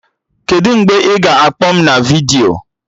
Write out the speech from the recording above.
Kedụ mgbe ị ga-akpọ m na vidiyo?